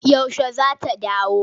Yaushe za ta dawo?